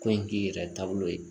Ko in k'i yɛrɛ taabolo ye